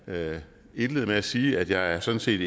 indlede med at sige at jeg sådan set